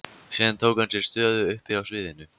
Síðan tók hann sér stöðu uppi á sviðinu.